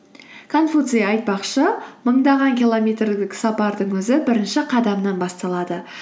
конфуций айтпақшы мыңдаған километрлік сапардың өзі бірінші қадамнан басталады